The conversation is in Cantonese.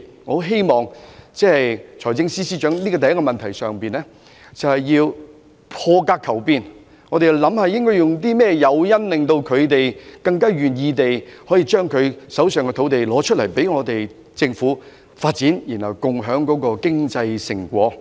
我希望財政司司長可以在這個問題上破格求變，研究有甚麼誘因可令土地擁有人更願意拿出手上的土地供政府發展，然後共享經濟成果。